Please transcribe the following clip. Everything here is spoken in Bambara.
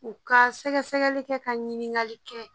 U ka sɛgɛsɛgɛli kɛ ka ɲininkali kɛ.